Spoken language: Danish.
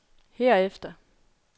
herefter